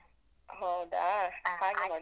ಹೌದಾ